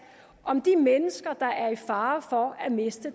om de mennesker der er i fare for at miste